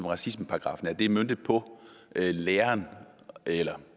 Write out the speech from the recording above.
racismeparagraffen er det er møntet på læren eller